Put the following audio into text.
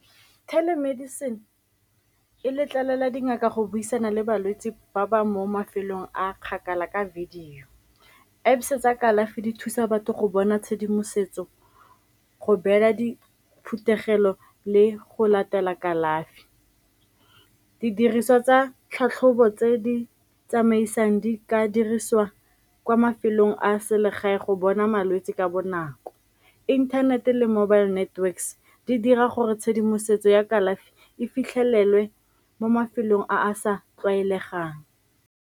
Telemedicine e letlelela dingaka go buisana le balwetse ba ba mo mafelong a kgakala ka video. Apps tsa kalafi di thusa batho go bona tshedimosetso, go beela diphuthego pelo le go latela kalafi. Didiriswa tsa tlhatlhobo tse di tsamaisang di ka dirisiwa kwa mafelong a selegae go bona malwetse ka bonako, inthanete le mobile networks di dira gore tshedimosetso ya kalafi e fitlhelelwe mo mafelong a a sa tlwaelegang.